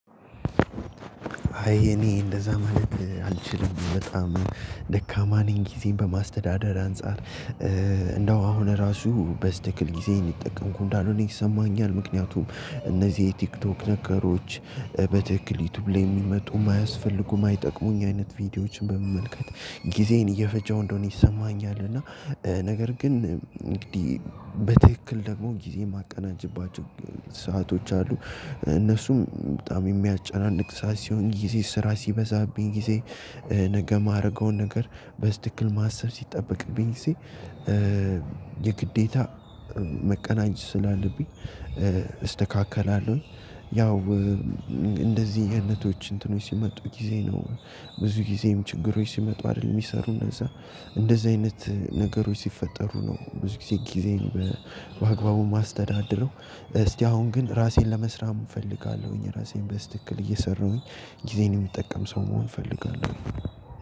አይ እኔ እንደዛ ማለት አልችልም። በጣም ደካማ ነኝ ጊዜን በማስተዳደር አንፃር። እንደው አሁን እራሱ በትክክል ጊዜዬን እየተጠቀምኩ እንዳልሆነ ይሰማኛል ምክንያቱም እነዚህ የቲክቶክ ነገሮች በትክክል ዩቲዩብ ላይ የሚመጡ የማያስፈልጉ የማይጠቅሙኝ አይነት ቪዲዮዎችን በመመልከት ጊዜን እየፈጀው እንደሆነ ይሰማኛል። እና ነገር ግን እንግዲህ በትክክል ደግሞ ጊዜ ማቀናጀባቸው ሰአቶች አሉ እነሱም በጣም የሚያጨናንቅ ሰዓት ሲሆን ስራ ሲበዛብኝ ጊዜ ነገ የማደርገውን ነገር በትክክል ማሰብ ሲጠበቅብኝ ጊዜ የግዴታ ማቀናጀት ስላለብኝ እስተካከላለሁኝ። ያው እንደዚህ አይነቶች እንትኖች ሲመጡ ጊዜ ነው። ብዙ ጊዜም ችግሮች ሲመጡ አይደል የሚሰሩ እንደዛ እንደዚህ አይነት ነገሮች ሲፈጠሩ ነው ብዙውን ጊዜጊዜን በአግባቡ የማስተዳድረው። እስቲ አሁን ግን ራሴን ለመስራት እፈልጋለሁኝ ራሴን በትክክል እየሰራሁኝ ጊዜን የምጠቀም ሰው መሆን እፈልጋለሁ።